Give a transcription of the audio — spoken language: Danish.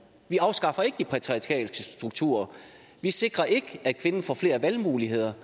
vi afskaffer ikke de patriarkalske strukturer vi sikrer ikke at kvinden får flere valgmuligheder